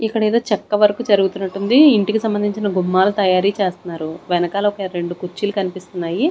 ఇక్కడ ఏదో చెక్క వర్క్ జరుగుతున్నట్టు ఉంది ఇంటికి సంబంధించిన గుమ్మాలు తయారీ చేస్తున్నారు వెనకాల ఒక రెండు కుర్చీలు కనిపిస్తున్నాయి.